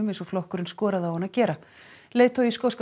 eins og flokkurinn skoraði á hann að gera leiðtogi skoska